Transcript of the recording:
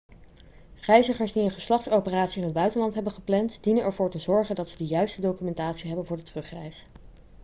reizigers die een geslachtsoperatie in het buitenland hebben gepland dienen ervoor te zorgen dat ze de juiste documentatie hebben voor de terugreis